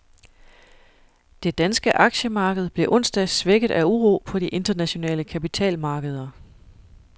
Det danske aktiemarked blev onsdag svækket af uro på de internationale kapitalmarkeder.